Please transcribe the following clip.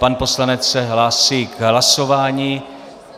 Pan poslanec se hlásí k hlasování.